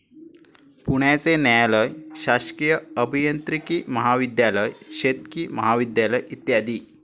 पुण्याचे न्यायालय, शासकीय अभियांत्रिकी महाविध्यालय, शेतकी महाविध्यालय, इ.